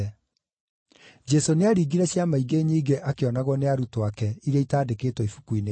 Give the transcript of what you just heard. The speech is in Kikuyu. Jesũ nĩaringire ciama ingĩ nyingĩ akĩonagwo nĩ arutwo ake, iria itaandĩkĩtwo Ibuku-inĩ rĩĩrĩ.